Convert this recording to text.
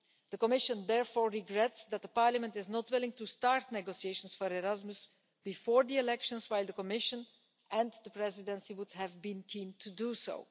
The Commission therefore regrets that the Parliament is not willing to start negotiations for Erasmus before the elections, while the Commission and the Presidency would have been keen to do so.